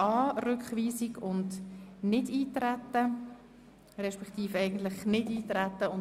Rückweisung/Nichteintreten respektive Nichteintreten/ Rückweisung.